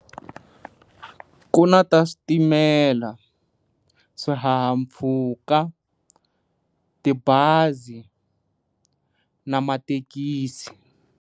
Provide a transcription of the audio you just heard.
Ku na ta switimela, swihahampfhuka, tibazi na mathekisi.